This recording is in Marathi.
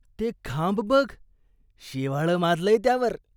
ते खांब बघ. शेवाळं माजलंय त्यावर.